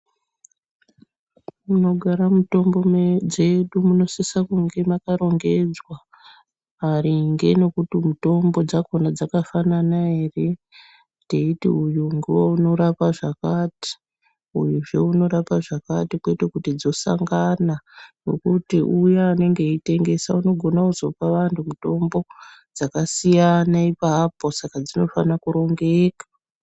Munogara mutombo jedu munosisa kunge makarongedzwa maringe nekuti mutombo dzakona dzakafanana ere, teiti uyu ngeunorapa zvakati uyu zve unorapa zvakati ,kwete kuti dzosangana, ngukuti uyane anenge eitengesa unogona kupa muntu mutombo dzakasiyana ipapo saka dzofana kunge dzakarongeka.